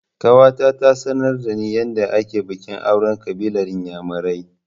Ƙawata ta sanar da ni yadda ake bikin auren ƙabilar inyamurai